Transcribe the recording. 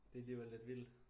Det alligevel lidt vildt